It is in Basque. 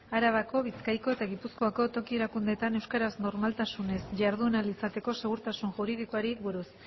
arabako bizkaiko eta gipuzkoako toki erakundeetan euskaraz normaltasunez jardun ahal izateko segurtasun juridikoari buruz